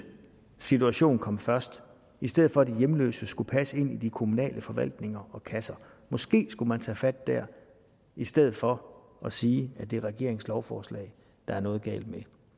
situation komme først i stedet for at de hjemløse skal passe ind i de kommunale forvaltninger og kasser måske skulle man tage fat dér i stedet for at sige at det er regeringens lovforslag der er noget galt med